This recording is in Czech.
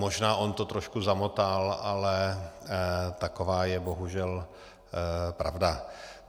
Možná on to trošku zamotal, ale taková je bohužel pravda.